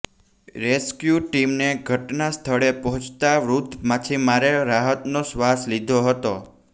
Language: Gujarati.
રેસક્યું ટીમને ઘટના સ્થળે પહોંચતાં વૃદ્ધ માછીમારે રાહતનો શ્વાસ લીધો હતો